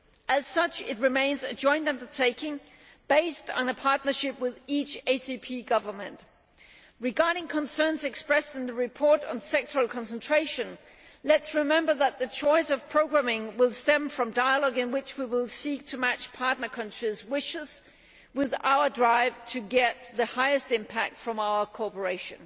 As such, it remains a joint undertaking based on a partnership with each ACP government. Regarding concerns expressed in the report on sectoral concentration, let us remember that the choice of programming will stem from dialogue in which we will seek to match partner countries' wishes with our drive to get the highest impact from our cooperation.